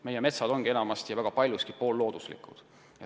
Meie metsad on väga paljuski poollooduslikud.